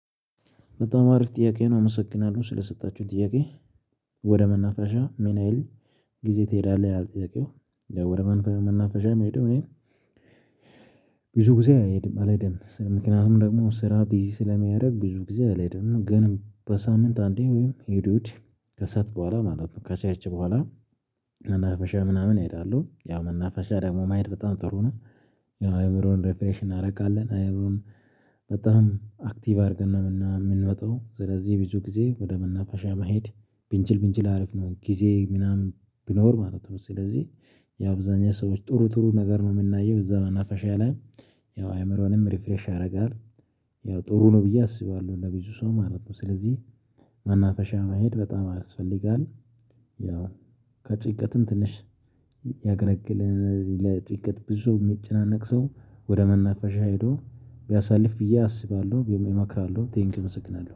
በጣም አሪፍ ጥያቄ ነው ስለሰጣችሁኝ ጥያቄ። ወደ መናፈሻ ሚናህል ጊዜ ትሄዳለህ ጥያቄው ወደ መንፈሻ መናፈሻ ምሄደው? እኔ ብዙ ጊዜ አልሄድም አልሄድም ምክንያቱም ደግሞ ስራ ቢዚ ስለሚረግ ብዙ ጊዜ አልሄድም። ግን በሳምንት አንዴ ወይም እሁድ እሁድ ከሰአት በኋላ ማለት ነው። ከቸርች በኋላ መናፈሻ ምናምን እሄዳለሁ። ያው መናፈሻ ደግሞ መሄድ በጣም ጥሩ ነው። አእምሮን ሪፍሬሽ እናረጋለን አእምሮን። በጣም አክቲቭ አድርገን ነው የምንመጣው። ስለዚህ ብዙ ጊዜ ወደ መናፋሻ መሄድ ብንችል ብንችል አሪፍ ነው። ጊዜ ምናምን ቢኖር ማለት ነው። ስለዚህ የአብዛኛው ሰዎች ጥሩ ጥሩ ነገር ነው ምናየው እዛ መናፈሻ ላይ ያው አእምሮንም ሪፍሬሽ ያረጋል። ያው ጥሩ ነው ብዬ አስባለሁ ለብዙ ሰው ማለት ነው። ስለዚህ ማናፈሻ መሄድ በጣም ያስፈልጋል። ያው ከጭቅትም ትንሽ ያገለግልን ለጭቅት ብዙ የሚጨናነቅ ሰው ወደ መናፈሻ ሄዶ ቢያሳልፍ ብዬ አስባለሁ ቢመክራለሁ። ቴንኪው እመስግናለሁ